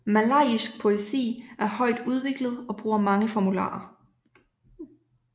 Malajisk poesi er højt udviklet og bruger mange formularer